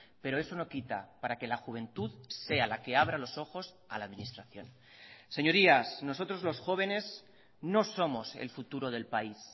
pero eso no quita para que la juventud sea la que abra los ojos a la administración señorías nosotros los jóvenes no somos el futuro del país